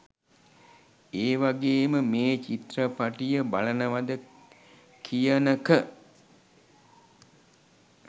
ඒවගේම මේ චිත්‍රපටිය බලනවද කියනක